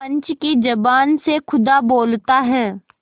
पंच की जबान से खुदा बोलता है